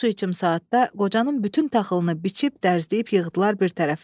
Bir su içim saatda qocanın bütün taxılını biçib, dərzləyib yığdılar bir tərəfə.